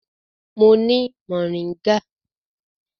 Mo ni moringa.